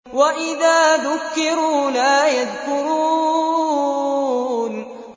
وَإِذَا ذُكِّرُوا لَا يَذْكُرُونَ